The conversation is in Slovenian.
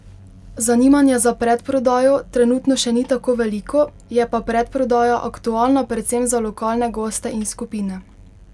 Zanimanje za predprodajo trenutno še ni tako veliko, je pa predprodaja aktualna predvsem za lokalne goste in skupine.